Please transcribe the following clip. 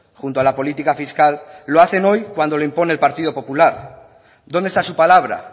junto a la política fiscal lo hacen hoy cuando lo impone el partido popular dónde está su palabra